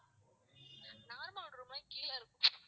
normal room னா கீழ இருக்கும்.